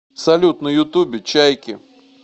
салют на ютуб чайки